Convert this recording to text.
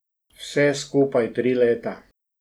Vse skupaj tri leta.